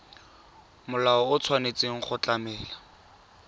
molao o tshwanetse go tlamela